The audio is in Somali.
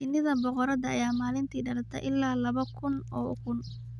Shinnida boqorada ayaa maalinti dhalata ilaa laba kun oo ukun.